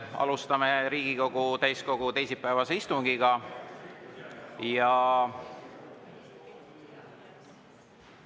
Alustame Riigikogu täiskogu teisipäevast istungit ja …